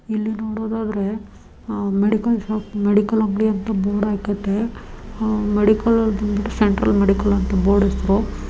ಇಲ್ಲಿ ನೋಡೋದಾದ್ರೆ medical shop medical ಅಂಗಡಿ ಅಂತ ಬೋರ್ಡ್ ಹಾಕೆತೆ. ಮೆಡಿಕಲ್ ಅದ್ರುದು ಸೆಂಟ್ರಲ್ ಮೆಡಿಕಲ್ ಅಂತ ಬೋರ್ಡ್ ಹೆಸರು --